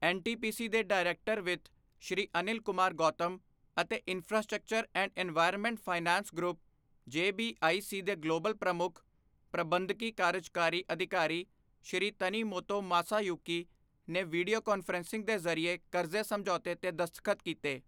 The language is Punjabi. ਐੱਨ ਟੀ ਪੀ ਸੀ ਦੇ ਡਾਇਰੈਕਟਰ ਵਿੱਤ ਸ਼੍ਰੀ ਅਨਿਲ ਕੁਮਾਰ ਗੌਤਮ ਅਤੇ infrastructure and environment finance group, JBIC ਦੇ ਗਲੋਬਲ ਪ੍ਰਮੁੱਖ, ਪ੍ਰਬੰਧਕੀ ਕਾਰਜਕਾਰੀ ਅਧਿਕਾਰੀ ਸ਼੍ਰੀ ਤਨੀਮੋਤੋ ਮਾਸਾਯੂਕੀ ਨੇ ਵੀਡੀਓ ਕਾਨਫ਼ਰੰਸਿੰਗ ਦੇ ਜ਼ਰੀਏ ਕਰਜ਼ੇ ਸਮਝੌਤੇ ਤੇ ਦਸਤਖਤ ਕੀਤੇ।